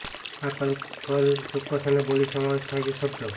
આ કલકલ ચોક્કસ અને બોલી સમાવેશ થાય છે શબ્દો